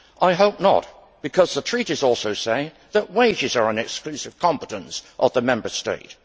I hope not, because the Treaties also say that wages are an exclusive competence of the Member States.